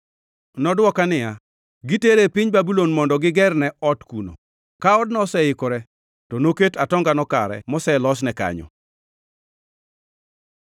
Nodwoka niya, “Gitere e piny Babulon mondo gigerne ot kuno. Ka odno oseikore, to noket atongano kare moselosne kanyo.”